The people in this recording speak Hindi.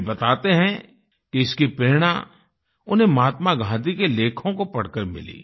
वे बताते हैं कि इसकी प्रेरणा उन्हें महात्मा गांधी के लेखों को पढ़कर मिली